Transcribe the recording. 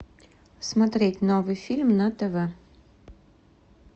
смотреть новый фильм на тв